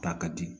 Ta ka di